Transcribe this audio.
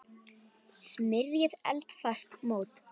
Smyrjið eldfast mót.